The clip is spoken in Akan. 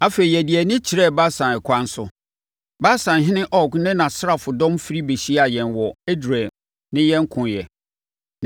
Afei, yɛde yɛn ani kyerɛɛ Basan ɛkwan so. Basanhene Og ne nʼasraadɔm firi bɛhyiaa yɛn wɔ Edrei ne yɛn koeɛ.